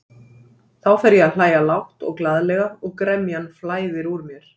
Þá fer ég að hlæja lágt og glaðlega og gremjan flæðir úr mér.